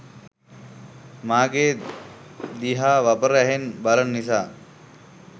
මගේ දිහා වපර ඇහෙන් බලන නිසා